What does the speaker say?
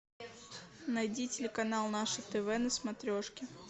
найди телеканал наше тв на смотрешке